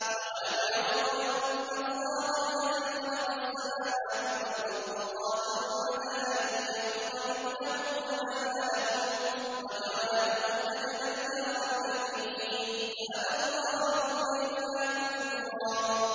۞ أَوَلَمْ يَرَوْا أَنَّ اللَّهَ الَّذِي خَلَقَ السَّمَاوَاتِ وَالْأَرْضَ قَادِرٌ عَلَىٰ أَن يَخْلُقَ مِثْلَهُمْ وَجَعَلَ لَهُمْ أَجَلًا لَّا رَيْبَ فِيهِ فَأَبَى الظَّالِمُونَ إِلَّا كُفُورًا